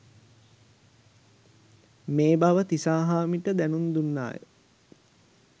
මේ බව තිසාහාමිට දැනුම් දුන්නාය